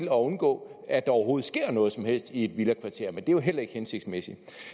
at undgå at der overhovedet sker noget som helst i et villakvarter men det er jo heller ikke hensigtsmæssigt